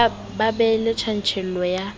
ba be le tjantjello ya